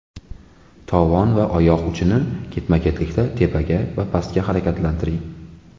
Tovon va oyoq uchini ketma-ketlikda tepaga, pastga harakatlantiring.